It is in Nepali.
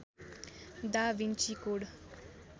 दा भिन्ची कोड